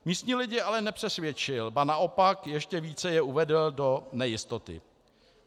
Místní lidi ale nepřesvědčil, ba naopak ještě více je uvedl do nejistoty.